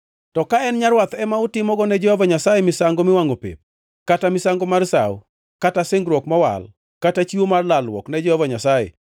“ ‘To ka en nyarwath ema utimogo ne Jehova Nyasaye misango miwangʼo pep, kata misango mar sawo, kaka singruok mowal kata chiwo mar lalruok ne Jehova Nyasaye,